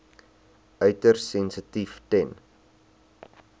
uiters sensitief ten